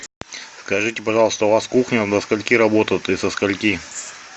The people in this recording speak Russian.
скажите пожалуйста у вас кухня до скольки работает и со скольки